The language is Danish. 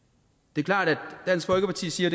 det er klart at dansk folkeparti siger